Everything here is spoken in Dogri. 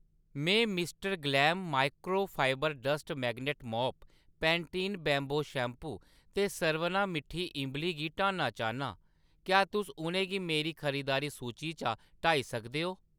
में Mr Glam microfibre dust magnet mop, Pantene bamboo shampoo ते सरवना मिट्ठी इंबली गी हटाना चाह्‌न्नां, क्या तुस उʼनेंगी मेरी खरीदारी सूची चा हटाई सकदे ओ ?